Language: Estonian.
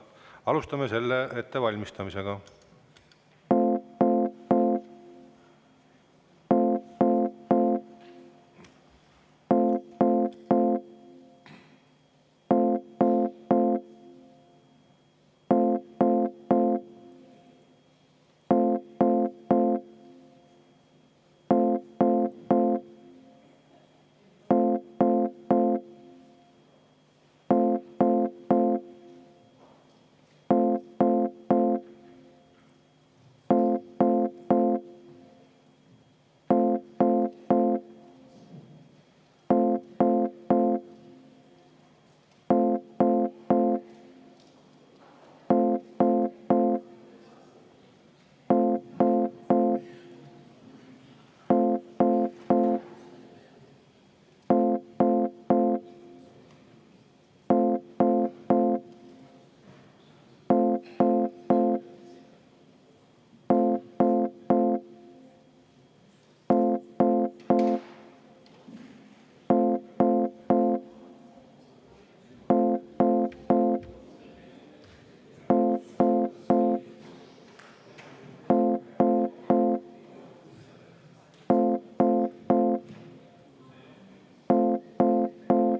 Alustame selle ettevalmistamist.